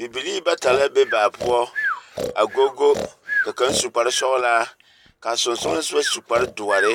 Bibilii bata la be baa poɔ a gogo, ka kaŋ su kparsɔglaa, kaa sonsɔlesoba su kpardoɔre,